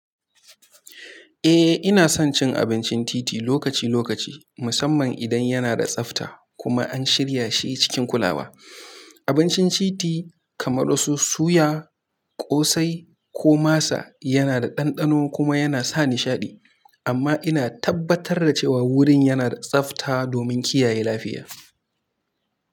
Eh, ina son cin abincin titi lokaci lokaci, musamman idan yana da tsafta kuma an shirya shi cikin kulawa. Abincin titi kamar su suya, ƙosai ko masa yana da ɗanɗano kuma yana sa nishaɗi, amma ina tabbatar da cewa wurin yana da tsafta domin kiyaye lafiya.